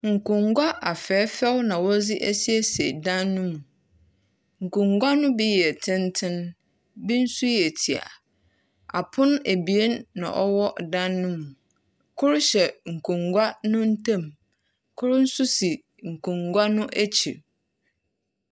Nkongua afɛɛfɛw na wɔdze esieise dan no mu. Nkongua no bi yɛ tsentsen, bi nso yɛ tia. Apono eben na ɔwɔ dan no mu. Kor hyɛ nkonwa no ntam. Kor nso si nkonwa no akyir.